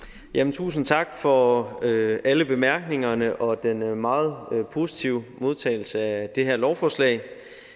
tusind tak for alle bemærkningerne og den meget positive modtagelse af det her lovforslag